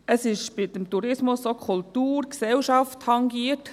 Es sind beim Tourismus auch Kultur und Gesellschaft tangiert.